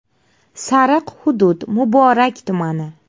“Sariq” hudud: Muborak tumani.